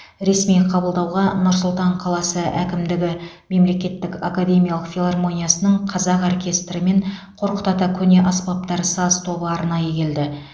ресми қабылдауға нұр сұлтан қаласы әкімдігі мемлекеттік академиялық филармониясының қазақ оркестрі мен қорқыт ата көне аспаптар саз тобы арнайы келді